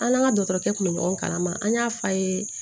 An n'an ka dɔgɔtɔrɔkɛ kun bɛ ɲɔgɔn kalama an y'a fɔ a ye